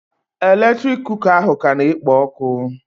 Eletrik kuka ahụ ka na-ekpo ọkụ